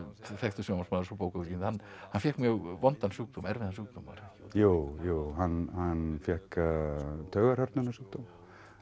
þekktur sjónvarpsmaður og bókaútgefandi hann fékk mjög vondan sjúkdóm erfiðan sjúkdóm jú jú hann fékk taugahrörnunarsjúkdóm